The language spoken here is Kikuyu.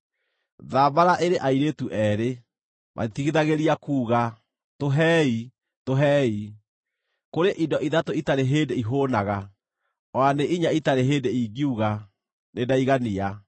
“Thambara ĩrĩ airĩtu eerĩ. Matitigithagĩria kuuga, ‘Tũhei! Tũhei!’ “Kũrĩ indo ithatũ itarĩ hĩndĩ ihũũnaga, o na nĩ inya itarĩ hĩndĩ ingiuga, ‘Nĩndaigania!’